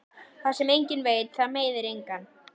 Það sem enginn veit það meiðir engan.